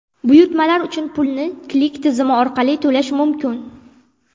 Buyurtmalar uchun pulni Click tizimi orqali to‘lash mumkin.